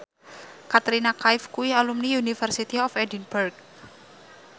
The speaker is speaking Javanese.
Katrina Kaif kuwi alumni University of Edinburgh